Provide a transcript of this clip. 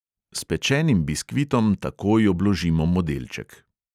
S pečenim biskvitom takoj obložimo modelček.